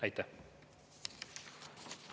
Aitäh!